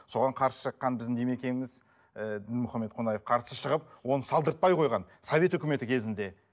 соған қарсы шыққан біздің демекеміз ііі дінмұхаммед қонаев қарсы шығып оны салдыртпай қойған совет өкіметі кезінде